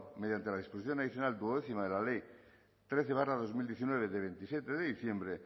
mediante la disposición adicional duodécima de la ley trece barra dos mil diecinueve de veintisiete de diciembre